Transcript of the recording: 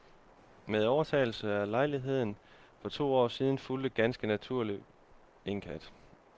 Med overtagelsen af lejligheden for to år siden fulgte ganske naturligt en kat.